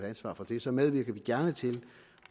ansvar for det så medvirker vi gerne til